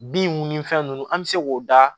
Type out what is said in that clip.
Bin ni fɛn nunnu an bɛ se k'o da